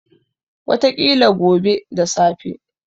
Wataƙila gobe da safe.